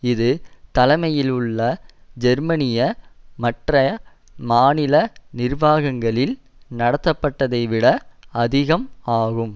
இது தலைமையில் உள்ள ஜெர்மனிய மற்றைய மாநில நிர்வாகங்களில் நடத்தப்பட்டதைவிட அதிகம் ஆகும்